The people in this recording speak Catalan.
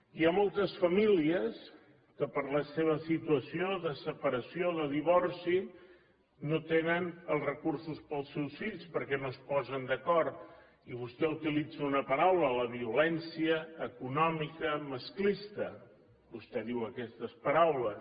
hi ha moltes famílies que per la seva situació de separació o de divorci no tenen els recursos per als seus fills perquè no es posen d’acord i vostè utilitza una paraula la violència econòmica masclista vostè diu aquestes paraules